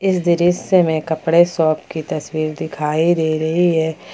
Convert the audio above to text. इस दृश्य में कपड़े शॉप की तस्वीर दिखाई दे रही है।